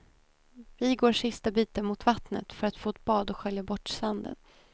Vi går sista biten mot vattnet för att få ett bad och skölja bort sanden.